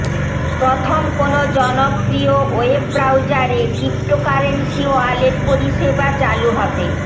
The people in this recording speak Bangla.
প্রথম কোন জনপ্রিয় ওয়েব ব্রাউজারে ক্রিপ্টোকারেন্সি ওয়ালেট পরিষেবা চালু হবে